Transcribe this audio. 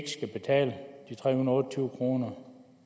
skal betale de tre hundrede og tyve kroner